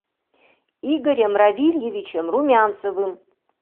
игорем равильевичем румянцевым